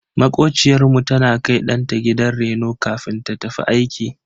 Makociyar mu tana kai danta gidan reno kafin ta tafi aiki.